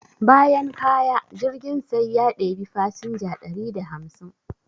Bayan kaya, jirgin sai da ya ɗebi fasinja dari da hamsin.